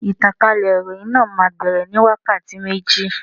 Ìtànkálẹ̀ ìròhìn náà má bere ní wákàtí méjì.